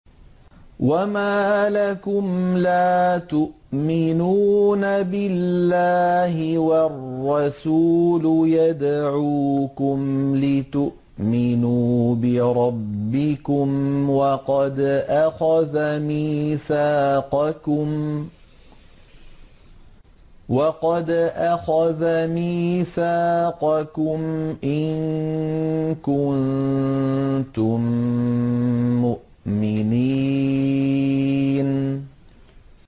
وَمَا لَكُمْ لَا تُؤْمِنُونَ بِاللَّهِ ۙ وَالرَّسُولُ يَدْعُوكُمْ لِتُؤْمِنُوا بِرَبِّكُمْ وَقَدْ أَخَذَ مِيثَاقَكُمْ إِن كُنتُم مُّؤْمِنِينَ